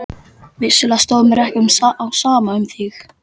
Vissulega stóð mér ekki á sama um þig.